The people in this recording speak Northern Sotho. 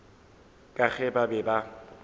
ka ge ba be ba